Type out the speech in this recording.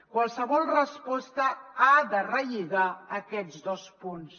qualsevol resposta ha de relligar aquests dos punts